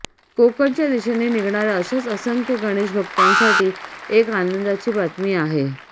कोकणच्या दिशेने निघणाऱ्या अशाच असंख्य गणेशभक्तांसाठी एक आनंदाची बातमी आहे